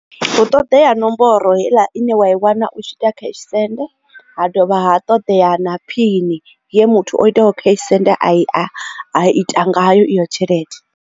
Hu ṱoḓea nomboro heiḽa ine wa i wana u tshi ita cash send ha dovha ha ṱoḓea na phini ye muthu o iteaho cash send a i ita ngayo iyo tshelede.